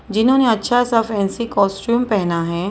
जिन्होंने अच्छा सा फैंसी कॉस्ट्यूम पहना है।